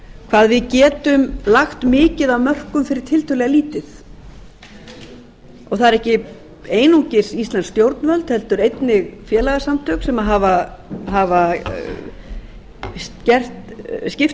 hvað við getum lagt mikið af mörkum fyrir tiltölulega lítið það er ekki einungis íslensk stjórnvöld heldur einnig félagasamtök sem hafa skipt